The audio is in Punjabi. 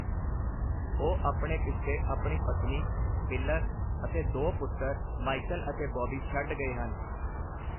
ਉਹ ਆਪਣੇ ਪਿੱਛੇ ਆਪਣੀ ਪਤਨੀ, ਪਿਲਰ ਅਤੇ ਦੋ ਪੁੱਤਰ ਮਾਈਕਲ ਅਤੇ ਬੌਬੀ ਛੱਡ ਗਏ ਹਨ।